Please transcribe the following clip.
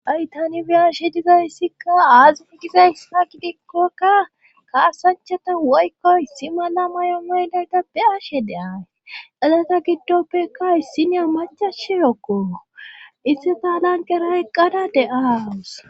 Ay tani biyashe dizayssikka aazif dizays fa gidikkokka kaasanchata woykko issi mala mayo maydayda be ashe de'ay elata giddoppeka issinya macashi rokkoo isse taalanqeraeqqada deaas.